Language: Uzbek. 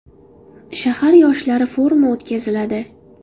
Shahar yoshlari forumi o‘tkaziladi.